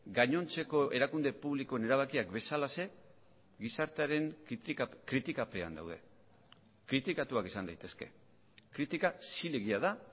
gainontzeko erakunde publikoen erabakiak bezalaxe gizartearen kritikapean daude kritikatuak izan daitezke kritika zilegia da